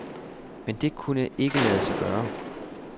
Men det kunne ikke lade sig gøre.